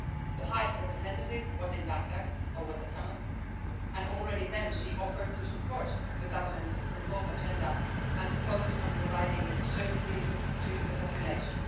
The High Representative was in Baghdad over the summer and already then she offered to support the government's reform agenda and to focus on providing services to the population.